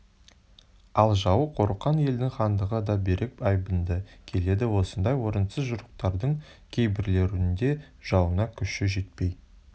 ал жауы қорыққан елдің хандығы да берік айбынды келеді осындай орынсыз жорықтардың кейбіреулерінде жауына күші жетпей